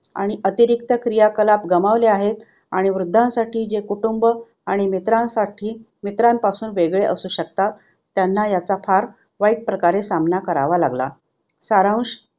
आणि अतिरिक्त क्रिया कलाप गमावले आहेत आणि वृद्धांसाठी जे कुटुंब आणि मित्रांसाठी मित्रांपासून वेगळे असू शकतात त्यांना ह्याचा फार वाईट प्रकारे सामना करावा लागला. सारांश